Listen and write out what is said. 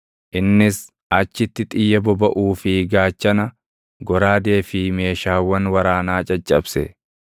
Innis achitti xiyya bobaʼuu fi gaachana, goraadee fi meeshaawwan waraanaa caccabse.